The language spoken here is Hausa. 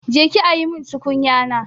Je ki ajiye min tukunyana!